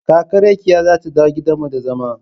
Kaka Rakiya za ta dawo gidan mu da zama.